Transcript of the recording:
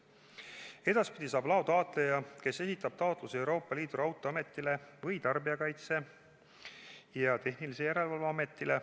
Edaspidi saab loa taotleja esitada taotluse Euroopa Liidu Raudteeametile või Tarbijakaitse ja Tehnilise Järelevalve Ametile.